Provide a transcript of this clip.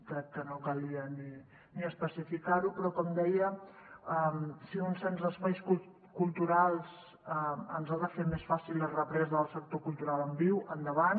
crec que no calia ni especificar ho però com deia si un cens d’espais culturals ens ha de fer més fàcil la represa del sector cultural en viu endavant